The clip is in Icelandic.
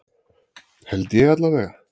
Held ég alla vega.